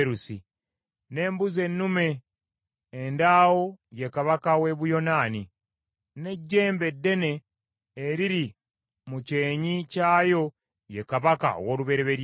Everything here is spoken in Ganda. N’embuzi ennume endaawo ye kabaka w’e Buyonaani, n’ejjembe eddene eriri mu kyenyi kyayo ye kabaka ow’olubereberye.